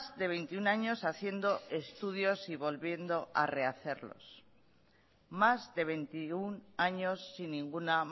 de veintiuno años haciendo estudios y volviendo a rehacerlos más de veintiuno años sin ninguna